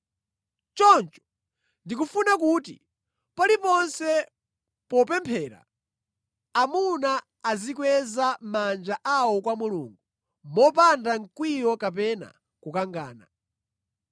Choncho ndikufuna kuti paliponse popemphera, amuna azikweza manja awo kwa Mulungu mopanda mkwiyo kapena kukangana.